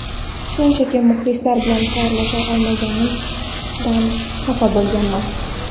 Shunchaki muxlislar bilan xayrlasha olmaganimdan xafa bo‘lganman.